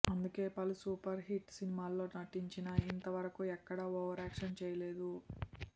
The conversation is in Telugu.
అందుకే పలు సూపర్ హిట్ సినిమాల్లో నటించినా ఇంత వరకూ ఎక్కడా ఓవరాక్షన్ చేయలేదు